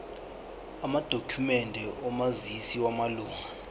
amadokhumende omazisi wamalunga